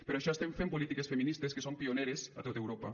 per això estem fent polítiques feministes que són pioneres a tot europa